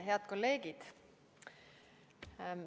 Head kolleegid!